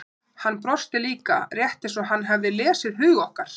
Hann brosti líka, rétt eins og hann hefði lesið hug okkar.